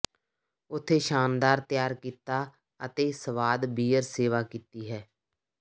ਉੱਥੇ ਸ਼ਾਨਦਾਰ ਤਿਆਰ ਕੀਤਾ ਅਤੇ ਸਵਾਦ ਬੀਅਰ ਸੇਵਾ ਕੀਤੀ ਹੈ